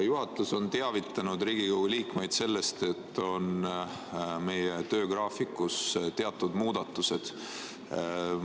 Juhatus on teavitanud Riigikogu liikmeid sellest, et meie töögraafikus on teatud muudatused.